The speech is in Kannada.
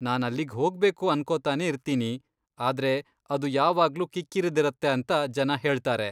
ನಾನಲ್ಲಿಗ್ ಹೋಗ್ಬೇಕು ಅನ್ಕೋತಾನೇ ಇರ್ತೀನಿ, ಆದ್ರೆ ಅದು ಯಾವಾಗ್ಲೂ ಕಿಕ್ಕಿರಿದಿರತ್ತೆ ಅಂತ ಜನ ಹೇಳ್ತಾರೆ.